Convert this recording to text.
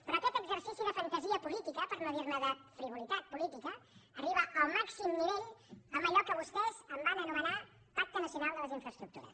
però aquest exercici de fantasia política per no dirne de frivolitat política arriba al màxim nivell amb allò que vostès en van anomenar pacte nacional de les infraestructures